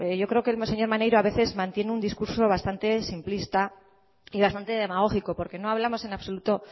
yo creo que el señor maneiro a veces mantiene un discurso bastante simplista y bastante demagógico porque no hablamos en absoluto